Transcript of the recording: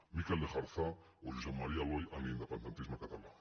mikel lejarza o josep maria aloy en l’independentisme català